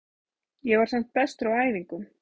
Ég var samt bestur á æfingum.